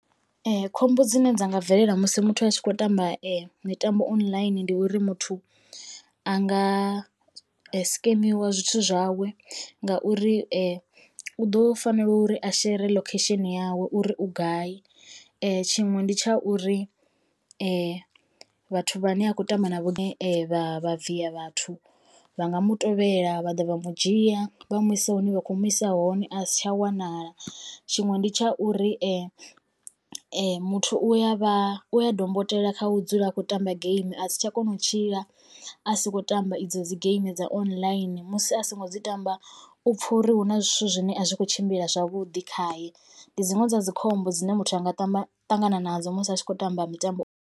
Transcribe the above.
Khombo dzine dza nga bvelela musi muthu a tshi khou tamba mitambo online ndi uri muthu anga skemiwa zwithu zwawe ngauri u ḓo fanela uri a shere ḽokhesheni yawe uri u gai. Tshiṅwe ndi tsha uri vhathu vha ne a khou tamba na vho vha via vhathu vha nga mu tovhela vha ḓa vha mu dzhia vha mu isa hune vha kho mu isa hone a si tsha wanala. Tshiṅwe ndi tsha uri ee muthu u ya vha u a dombotele kha u dzula a khou tamba game a si tsha kona u tshila a sa kho tamba idzo dzi game dza online musi a songo dzi tamba u pfha uri hu na zwithu zwine a zwi kho tshimbila zwavhuḓi khae ndi dziṅwe dza dzi khombo dzine muthu anga tangana nadzo musi atshi kho tamba mitambo.